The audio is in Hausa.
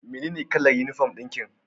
Menene kalar uniform dinki?